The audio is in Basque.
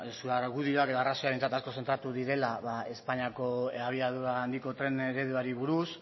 zure argudioak edo arrazoiak asko zentratu direla espainiako abiadura handiko tren ereduari buruz